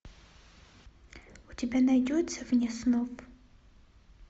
у тебя найдется вне снов